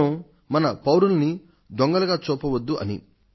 మనం మన పౌరుల్ని దొంగలుగా చూడవద్దు అని